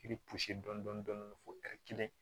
I bɛ dɔɔnin dɔɔnin fɔ kelen